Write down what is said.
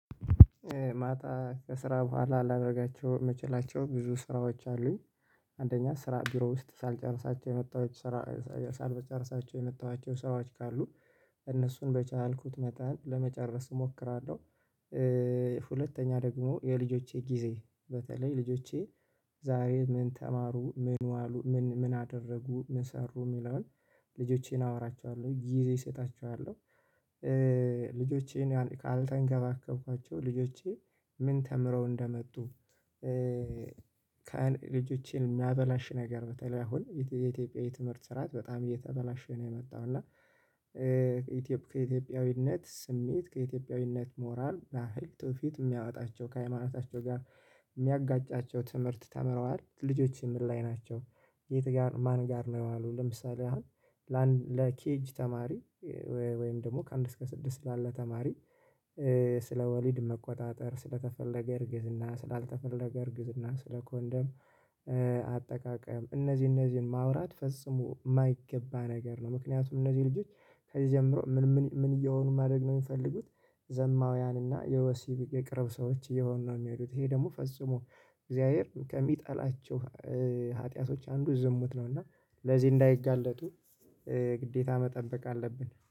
ማታ ከስራ ቡኋላ ላደርጋቸው ምችላቸው ብዙ ስራዎች አሉኝ አንደኛ ስራ ቢሮ ውስጥ ሳልጨርሳቸው የመጣውች ስራ ሳልጨርሳቸው የመጣዋቸው ሰራዎች ካሉ እነሱን በቻልኩት መጠን ለመጨረስ እሞክራለሁ። ሁለተኛ ደግሞ የልጆቼ ጊዜ በተለይ ልጆቼ። ዛሬ ምን ተማሩ ምን ዋሉ ምን አደረጉ ምን ሰሩ የሚለውን ልጆቼን አወራቸዋለው ጊዜ እሰጣቸዋለው። ልጆቼን ካልተንከባከብኳቸው ልጆቼ ምን ተምረው እንደመጡ። ልጆቼን የሚያበላሽ ነገር በተለይ አሁን የኢትዮጵያ የትምህርት ስራዓት በጣም እየተበላሽ ነው የመጣው እና። ከኢትዮጵያዊነት ስሜት ከኢትዮጵያዊነት ሞራል ባህል ትውፊት የሚያወጣቸው ከሃይማኖታቸው ጋር የሚያጋጫቸው ትምህርት ተምረዋል ልጆቼ ምን ላይ ናቸው? የት ጋር ማን ጋር ነው የዋሉት። ለምሳሌ አሁን ለኬጂ ተማሪ ወይም ደግሞ ከአንድ እስከ ስድስት ላለ ተማሪ። ስለ ወሊድ መቆጣጠር ስለ ተፈለገ እርግዝና ስለ አልተፈለገ እርግዝና ስለ ኮንደም። አጠቃቀም እነዚህን እነዚህን ማውራት ፈጽሙ ማይገባ ነገር ነው። ምክንያቱም እነዚህ ልጆች ከዚህ ጀምሮ ምን ምን ምን የሆኑ ማደግ ነው የሚፈልጉት። ዘማዊያን እና የወሲብ የቅርብ ሰዎች የሆኑ ነው የሚሄዱት። ይህ ደግሞ ፈጽሞ እግዚያብሄር ከሚጠላቸው ሃጥያቶች አንዱ ዝምት ነው። እና ለዚህ እንዳይጋለጡ ግዴታ መጠበቅ አለብን